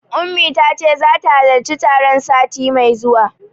Ummi tace zata halarci taron sati mai zuwa.